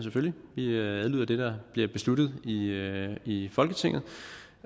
vi adlyder det der bliver besluttet i i folketinget